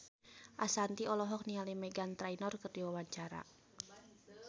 Ashanti olohok ningali Meghan Trainor keur diwawancara